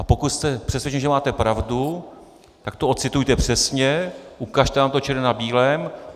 A pokud jste přesvědčen, že máte pravdu, tak to ocitujte přesně, ukažte nám to černé na bílém.